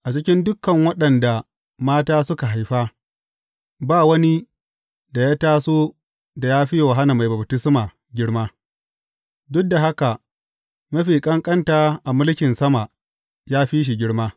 A cikin dukan waɗanda mata suka haifa, ba wani da ya taso da ya fi Yohanna Mai Baftisma girma; duk da haka mafi ƙanƙanta a mulkin sama ya fi shi girma.